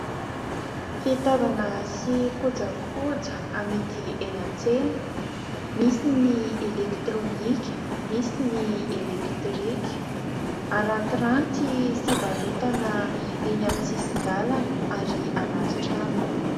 Fitaovana sy kojakoja amidy eny an-tsena. Misy ny elektirônika, misy ny elektrika. Arantiranty sy varotana eny amin'ny sisin-dalana ary anaty trano.